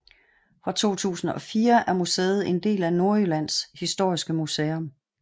Fra 2004 er museet en del af Nordjyllands Historiske Museum